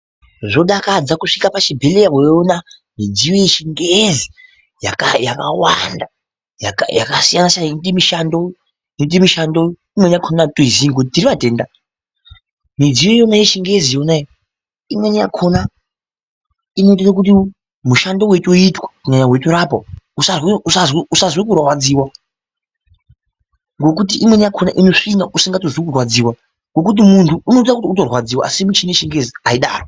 Zvodakadza kusvika pachibhehleya weiona midziyo yechingezi yakawanda yakasiyanasiyana inoite mishando inoite mishando imweni yakona atitoizii ngekuti tiri vatenda midziyo iyona yechingezi yona iyi imweni yakona inotoite kuti mushando weitoitwa kunyanya weitorapa usazwe kurwadziwa ngokuti imweni yakona inosvina usingatozwi kurwadziwa ngokuti munhu unoita ngekutorwadziwa asi michini yechingezi aidaro.